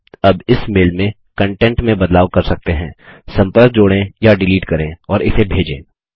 आप अब इस मेल में कंटेंट में बदलाव कर सकते हैं संपर्क जोड़ें या डिलीट करें और इसे भेजें